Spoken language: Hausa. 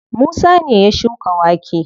Musa ne ya shuka wake.